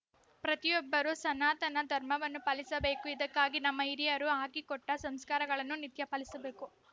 ಪ್ರತಿಯೊಬ್ಬರೂ ಸನಾತನ ಧರ್ಮವನ್ನು ಪಾಲಿಸಬೇಕು ಇದಕ್ಕಾಗಿ ನಮ್ಮ ಹಿರಿಯರು ಹಾಕಿಕೊಟ್ಟಸಂಸ್ಕಾರಗಳನ್ನು ನಿತ್ಯ ಪಾಲಿಸಬೇಕು